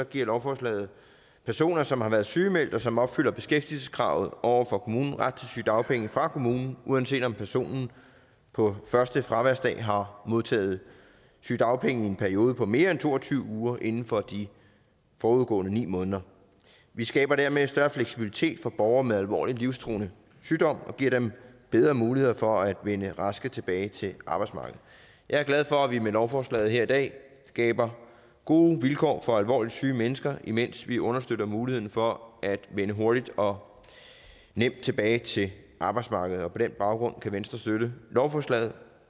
giver lovforslaget personer som har været sygemeldt og som opfylder beskæftigelseskravet over for kommunen ret til sygedagpenge fra kommunen uanset om personen på første fraværsdag har modtaget sygedagpenge i en periode på mere end to og tyve uger inden for de forudgående ni måneder vi skaber dermed større fleksibilitet for borgere med alvorlig livstruende sygdom og giver dem bedre muligheder for at vende raske tilbage til arbejdsmarkedet jeg er glad for at vi med lovforslaget her i dag skaber gode vilkår for alvorligt syge mennesker mens vi understøtter muligheden for at vende hurtigt og nemt tilbage til arbejdsmarkedet på den baggrund kan venstre støtte lovforslaget